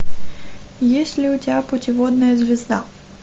есть ли у тебя путеводная звезда